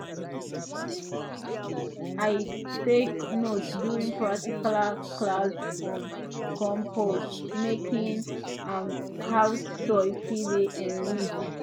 i take note during practical class on compost making and how soil fit dey enrich